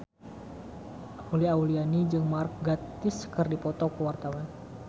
Uli Auliani jeung Mark Gatiss keur dipoto ku wartawan